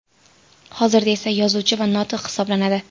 Hozirda esa yozuvchi va notiq hisoblanadi.